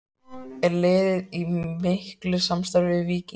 Er liðið í miklu samstarfi við Víking?